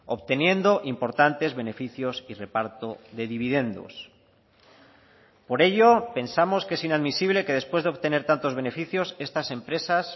obteniendo importantes beneficios y reparto de dividendos por ello pensamos que es inadmisible que después de obtener tantos beneficios estas empresas